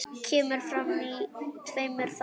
Kemur fram í tveimur þáttum.